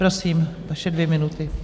Prosím, vaše dvě minuty.